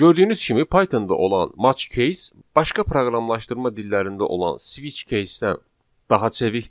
Gördüyünüz kimi Pythonda olan match case başqa proqramlaşdırma dillərində olan switch casdən daha çevikdir,